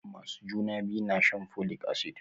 Masu juna biyu na shan folic acid.